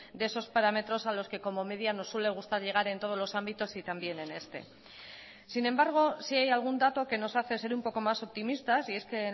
de esos parámetros a los que como media nos suele gustar llegar en todos los ámbitos y también en este sin embargo sí hay algún dato que nos hace ser un poco más optimistas y es que